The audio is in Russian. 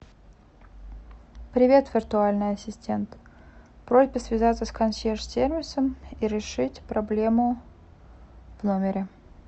привет виртуальный ассистент просьба связаться с консьерж сервисом и решить проблему в номере